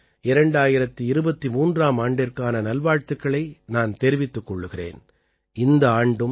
உங்கள் அனைவருக்கும் 2023ஆம் ஆண்டிற்கான நல்வாழ்த்துக்களை நான் தெரிவித்துக் கொள்கிறேன்